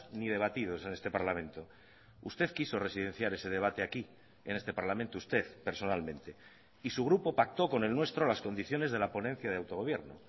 ni debatidos en este parlamento usted quiso residenciar ese debate aquí en este parlamento usted personalmente y su grupo pactó con el nuestro las condiciones de la ponencia de autogobierno